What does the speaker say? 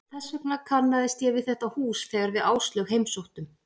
Þess vegna kannaðist ég við þetta hús þegar við Áslaug heimsóttum